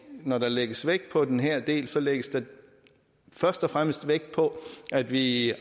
når der lægges vægt på den her del så lægges der først og fremmest vægt på at vi i